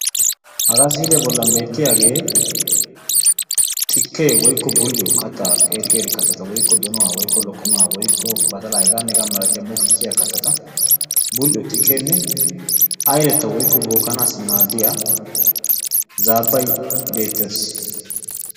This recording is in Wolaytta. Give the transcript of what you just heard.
haga misiliya bolani xikke, aylanaw maadiya aylenne beettosona.